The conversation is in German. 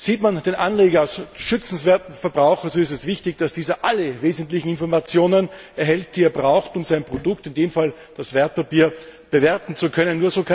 Sieht man den Anleger als schützenswerten Verbraucher, so ist es wichtig, dass dieser alle wesentlichen Informationen erhält, die er braucht, um sein Produkt, in dem Fall das Wertpapier, bewerten zu können.